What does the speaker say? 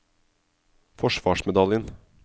forsvarsmedaljen